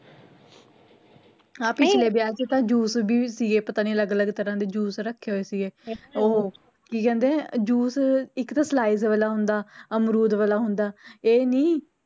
ਆਹ ਪਿਛਲੇ ਵਿਆਹ ਚ ਤਾ juice ਵੀ ਸੀਗੇ ਪਤਾ ਨੀ ਅਲਗ ਅਲਗ ਤਰ੍ਹਾਂ ਦੇ juice ਰੱਖੇ ਹੋਏ ਸੀਗੇ ਉਹ ਕੀ ਕਹਿੰਦੇ ਨੇ ਇਕ ਤਾ slice ਵਾਲਾ ਹੁੰਦਾ ਅਮਰੂਦ ਵਾਲਾ ਹੁੰਦਾ ਇਹ ਨੀ